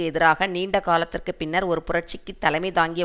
எதிராக நீண்டகாலத்திற்கு பின்னர் ஒரு புரட்சிக்கு தலைமை தாங்கிய